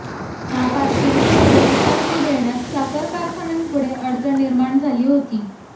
या पार्श्वभूमीवर एफआरपी देण्यात साखर कारखान्यांपुढे अडचण निर्माण झाली होती